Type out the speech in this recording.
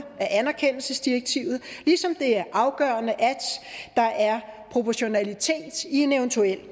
af anerkendelsesdirektivet ligesom det er afgørende at der er proportionalitet i en eventuel